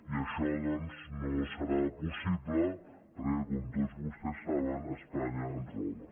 i això doncs no serà possible perquè com tots vostès saben espanya ens roba